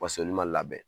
Bas'olu ma labɛn